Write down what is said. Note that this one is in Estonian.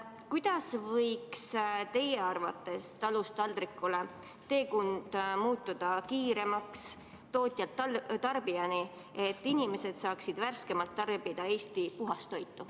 Kuidas võiks teie arvates teekond tootjalt tarbijani muutuda kiiremaks, et inimesed saaksid tarbida puhast Eesti toitu värskemalt?